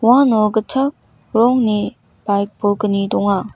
uano gitchak rongni baik bolgni donga.